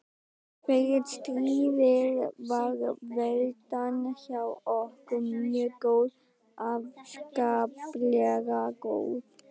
Fyrir stríðið var veltan hjá okkur mjög góð, afskaplega góð.